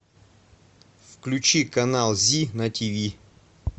включи канал зи на тв